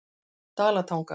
Dalatanga